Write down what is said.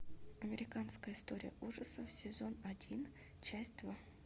американская история ужасов сезон один часть два